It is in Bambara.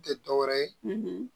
Tɛ dɔ wɛrɛ ye